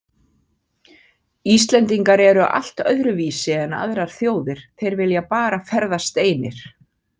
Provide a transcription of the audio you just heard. Íslendingar eru allt öðruvísi en aðrar þjóðir, þeir vilja bara ferðast einir.